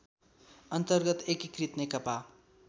अन्तर्गत एकीकृत नेकपा